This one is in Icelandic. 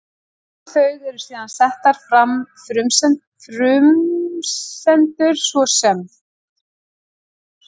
Um þau eru síðan settar fram frumsendur, svo sem: